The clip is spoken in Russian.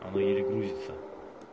оно еле грузится